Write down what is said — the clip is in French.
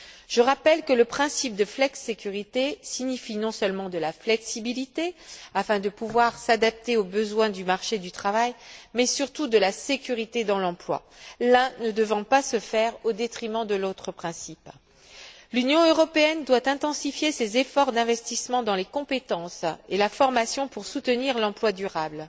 Je rappelle que le principe de flexicurité implique non seulement de la flexibilité, afin de pouvoir s'adapter aux besoins du marché du travail, mais surtout de la sécurité dans l'emploi, l'un ne devant pas se faire au détriment de l'autre principe. L'Union européenne doit intensifier ses efforts d'investissement dans les compétences et la formation pour soutenir l'emploi durable.